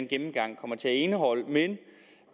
gennemgang kommer til at indeholde men